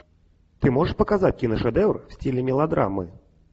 ты можешь показать киношедевр в стиле мелодрамы